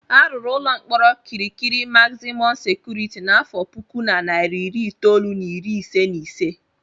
A rụrụ ụlọ mkpọrọ Kirikiri magzimọm sekuriti n'afọ puku na narị iri itolu na iri ise na ise.